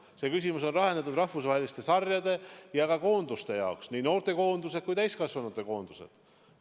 See küsimus on lahendatud rahvusvaheliste sarjade ja koondiste jaoks, nii noortekoondiste kui ka täiskasvanute koondiste jaoks.